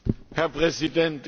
Herr Präsident!